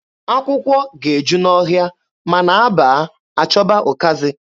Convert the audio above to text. Akwụkwọ ga-eju n'ọhịa, ma na a baa, a chọba ụkazị.